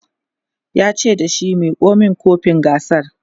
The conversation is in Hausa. yace da shi"Miko min kofin gasar!"